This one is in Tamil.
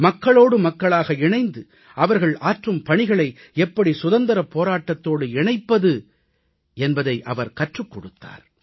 மக்களோடு மக்களாக இணைந்து அவர்கள் ஆற்றும் பணிகளை எப்படி சுதந்திரப் போராட்டத்தோடு இணைப்பது என்பதை அவர் கற்றுக் கொடுத்தார்